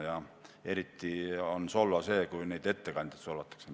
Aga eriti on solvav see, kui ettekandjaid solvatakse.